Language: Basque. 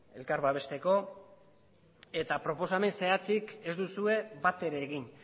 elkar babesteko eta proposamen zehatzik ez duzue batere egin